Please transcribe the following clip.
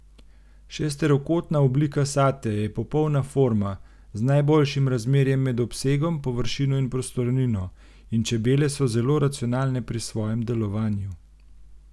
Šesterokotna oblika satja je popolna forma, z najboljšim razmerjem med obsegom, površino in prostornino, in čebele so zelo racionalne pri svojem delovanju.